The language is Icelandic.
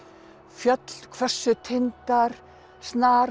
fjöll hvössu tindar